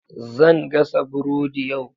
Zan gasa burodi yau.